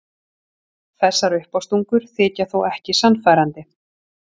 Þessar uppástungur þykja þó ekki sannfærandi.